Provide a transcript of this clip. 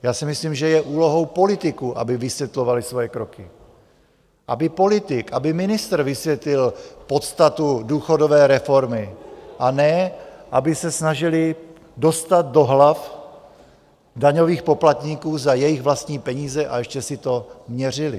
Já si myslím, že je úlohou politiků, aby vysvětlovali svoje kroky, aby politik, aby ministr vysvětlil podstatu důchodové reformy, a ne aby se snažili dostat do hlav daňových poplatníků za jejich vlastní peníze a ještě si to měřili.